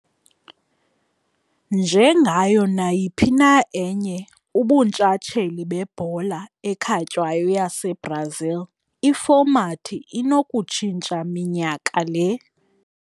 Njengayo nayiphi na enye ubuntshatsheli bebhola ekhatywayo yaseBrazil, ifomathi inokutshintsha minyaka le.